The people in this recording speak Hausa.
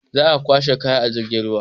Za a kwashe kaya a jirgin ruwa.